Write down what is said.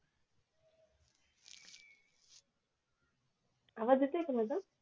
आवाज येत नाही का माझा